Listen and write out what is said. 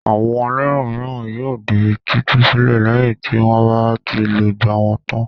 Àwọn ẹlẹ́wọ̀n mìíràn yóò di títú sílẹ̀ lẹ́yìn tí wọ́n bá ti lògbà wọn tán.